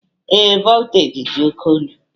Ee, voltaji dị oke elu